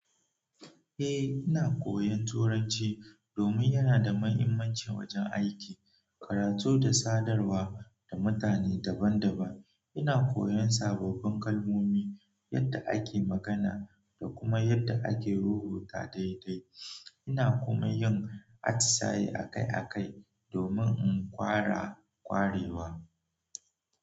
Eh, ina koyan Turanci domin yana da mahimmanci wajen aiki, karatu da sadarwa da mutane daban-daban. Ina koyon sababbin kalmomi yanda ake magana da kuma yadda ake rubuta daidai ina kuma yin atisaye akai-akai domin in ƙara ƙwarewa.